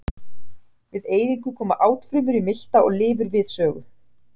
Við eyðingu koma átfrumur í milta og lifur við sögu.